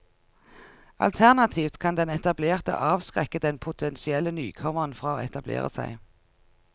Alternativt kan den etablerte avskrekke den potensielle nykommeren fra å etablere seg.